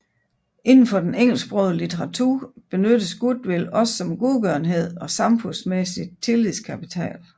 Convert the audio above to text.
Indenfor den engelsksprogede litteratur benyttes goodwill også om godgørenhed og samfundsmæssig tillidskapital